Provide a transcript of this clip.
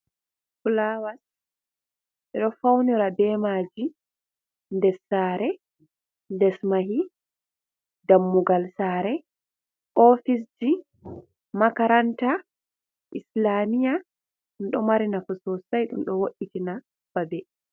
Filawas ɓeɗo faunira be maaji, ndes saare, les mahi, dammugal saare ofisji, makaranta, islamiya, ɗum ɗo mari nafu sosai ɗum ɗo wo'itina babe.